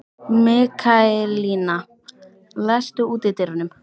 Mikaelína, læstu útidyrunum.